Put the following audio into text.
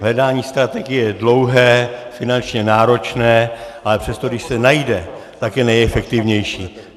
Hledání strategie je dlouhé, finančně náročné, ale přesto když se najde, tak je nejefektivnější.